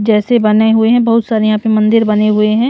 जैसे बने हुए हैं बहुत सारे यहां पे मंदिर बने हुए है ।